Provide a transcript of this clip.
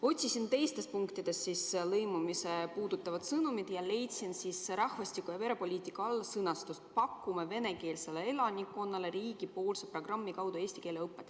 Otsisin teistest punktidest lõimumist puudutavat sõnumit ja leidsin rahvastiku- ja perepoliitika all sõnastuse: pakume venekeelsele elanikkonnale riigipoolse programmi kaudu eesti keele õpet.